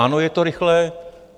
Ano, je to rychlé.